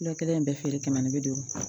Dɔ kelen in bɛɛ feere kɛmɛ ni bi duuru